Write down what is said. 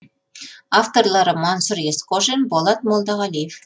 авторлары мансұр есқожин болат молдағалиев